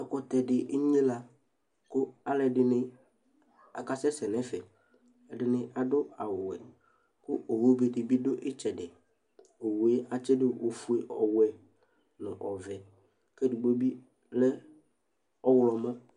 Ɛkʋtɛ dɩ enyɩla kʋ alʋ ɛdɩnɩ akasɛsɛ nʋ ɛfɛ ɛdɩnɩ awʋ ɔwɛ kʋ owʋ be dɩbɩ dʋ ɩtsɛdɩ Owʋe atsɩdʋ ofʋe owɛ nʋ ɔvɛ kɛ edgbo bɩ lɛ ɔwlɔmɔ